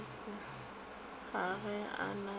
ga ge a na le